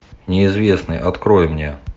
неизвестный открой мне